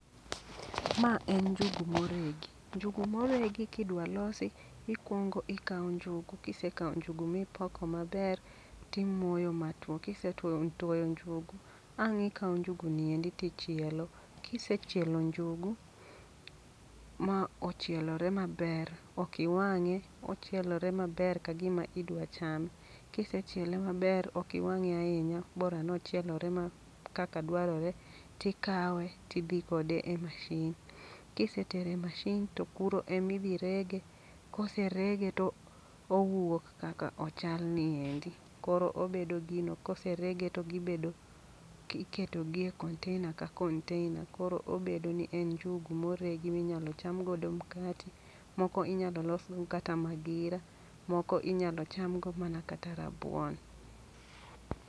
Ma en njugu moregi, njugu moregi kidwa losi, ikwongo ikawo njugu. Kisekawo njugu mipoko maber, timoyo ma two. Kisetwoyo njugu. ang' ikawo njugu ni endi tichielo. Kisechielo njugu ma ochielore maber, okiwang'e, ochielore maber ka gima idwa chame. Kisechiele maber, okiwang'e ahinya bora nochielore ma kaka dwarore. Ti kawe tidhi kode e mashin, kisetere mashin to kuro emidhi rege. Kose rege to owuok kakak ochal niendi. Koro obedo gino, koserege to gibedo iketo gi e container ka container. Koro obedo ni en njugu moregi ma inyalo cham godo mkati, moko inyal losgo kata magira, moko inyalo cham go mana kata rabuon.